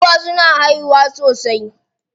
Giwa suna haihuwa sosai.